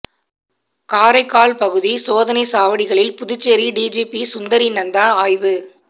காரைக்கால் பகுதி சோதனைச் சாவடிகளில் புதுச்சேரி டிஜிபி சுந்தரி நந்தா ஆய்வு